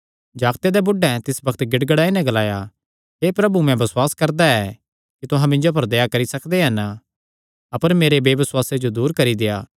जागते दे बुढ़ैं तिसी बग्त गिड़गिड़ाई नैं ग्लाया हे प्रभु मैं बसुआस करदा ऐ कि तुहां मिन्जो पर दया करी सकदे हन अपर मेरे बेबसुआसे जो दूर करी देआ